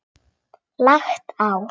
Lagt á.